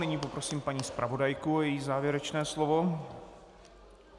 Nyní poprosím paní zpravodajku a její závěrečné slovo.